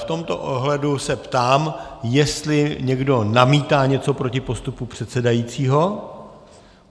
V tomto ohledu se ptám, jestli někdo namítá něco proti postupu předsedajícího.